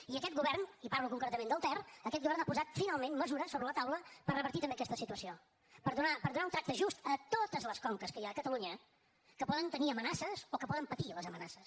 i aquest govern i parlo concretament del ter ha posat finalment mesures sobre la taula per revertir també aquesta situació per donar un tracte just a totes les conques que hi ha catalunya que poden tenir amenaces o que poden patir les amenaces